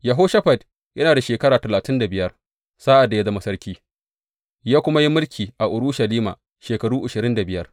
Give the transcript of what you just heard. Yehoshafat yana da shekara talatin da biyar sa’ad da ya zama sarki, ya kuma yi mulki a Urushalima shekaru ashirin da biyar.